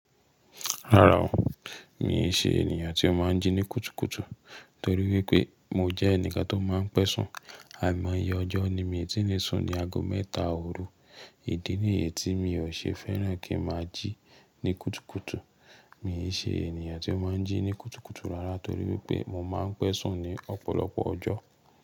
Rárá o, mi ò ṣe ènìyàn tí ó máa ń jí ní kùtùkùtù torí wípé mo jẹ́ ẹnìkan tó máa ń pẹ̀sùn. Àìmọye ọjọ́ ni mi tí lè sùn ní ago mẹ́ta òru. Ìdí nìyẹ́ tí mi ò ṣe fẹ́ràn kí n máa jí ní kùtùkùtù, mi ò ṣe ènìyàn tí ó máa ń jí ní kùtùkùtù rárá torí wípé mo máa ń pẹ̀sùn ní ọ̀pọ̀lọpọ̀ ọjọ́.